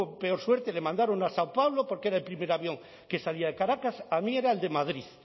peor suerte le mandaron a sao paulo porque era el primer avión que salía de caracas a mí era el de madrid